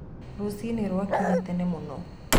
Rũcinĩ rwakinya tene mũno